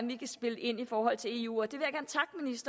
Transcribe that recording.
vi kan spille ind i forhold til eu tror vi